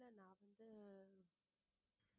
இல்லை நான் வந்து